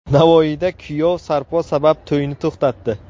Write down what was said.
Navoiyda kuyov sarpo sabab to‘yni to‘xtatdi .